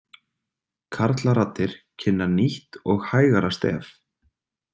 Karlaraddir kynna nýtt og hægara stef.